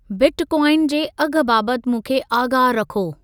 Bitcoin जे अघु बाबति मूंखे आगाहु रखो।